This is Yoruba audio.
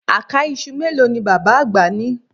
Àká iṣu mélòó ni bàbá àgbà ni